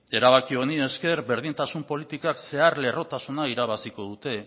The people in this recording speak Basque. erabaki honi esker berdintasun politikek zeharlerrotasuna irabaziko dute